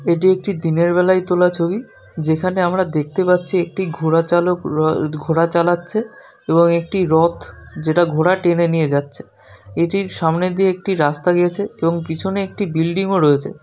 এটি একটি দিনের বেলায় তোলা ছবি যেখানে আমরা দেখতে পাচ্ছিএকটি ঘোরাচালক ঘোরা চালাচ্ছে । এবং একটি রথ যেটা ঘোড়া টেনে নিয়ে যাচ্ছেএটির সামনে দিয়ে একটি রাস্তা গিয়েছেএবং পিছনে একটি বিল্ডিং রয়েছে ।